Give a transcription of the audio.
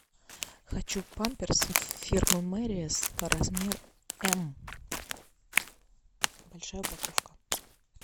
хочу памперс фирмы мериас размер м большая упаковка